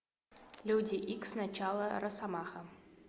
люди икс начало росомаха